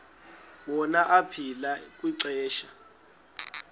wona aphila kwixesha